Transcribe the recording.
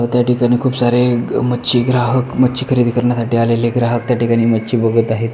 अ त्याठिकाणी खुप सारे मच्छी ग्रहाक मच्छी खरेदी करण्यासाठी आलेले ग्राहक त्या ठिकाणी मच्छी बगत आहेत.